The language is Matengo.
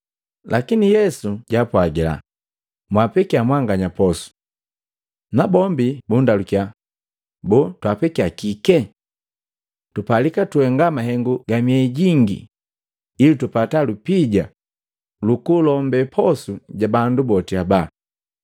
Lakini Yesu jaapwagila, “Mwapekya mwanganya posu.” Na bombi bundalukiya, “Boo, twapekya kike? Tupalika tuhenga mahengu kwa miehi jingi ili tupata lupija lukulombe posu ja bandu boti haba.”